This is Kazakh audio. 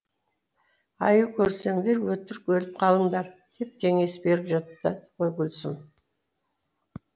аю көрсеңдер өтірік өліп қалыңдар деп кеңес беріп жатады ғой гүлсім